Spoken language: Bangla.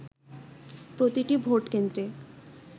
প্রতিটি ভোট কেন্দ্রে